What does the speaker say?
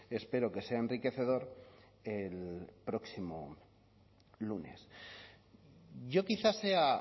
espero que sea enriquecedor el próximo lunes yo quizá sea